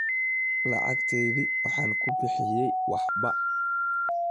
Lacagtaydii waxaan ku bixiyay waxba.